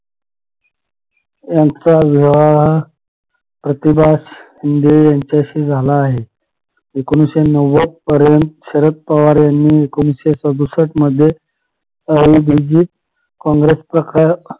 यांचा विवाह प्रतिभा शिंदे यांच्याशी झाला आहे एकोणीशे नव्वद पर्यंत शरद पवार यांनी एकोणीशे सदुष्ट मध्ये काँग्रेस प्रकार